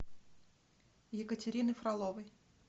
екатерины фроловой